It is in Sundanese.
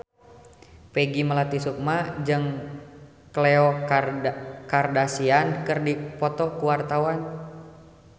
Peggy Melati Sukma jeung Khloe Kardashian keur dipoto ku wartawan